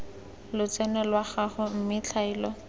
lotseno lwa gago mme tlhaelo